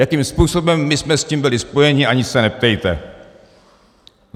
Jakým způsobem my jsme s tím byli spojeni, ani se neptejte.